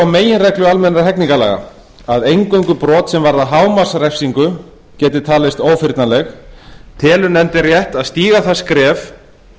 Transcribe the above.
meginreglu almennra hegningarlaga að eingöngu brot sem varða hámarksrefsingu geti talist ófyrnanleg telur nefndin rétt að stíga það skref